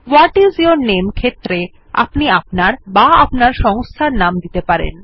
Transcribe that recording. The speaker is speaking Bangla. ভাট আইএস ইউর নামে ক্ষেত্রে আপনি আপনার বা আপনার সংস্থার নাম লিখতে পারেন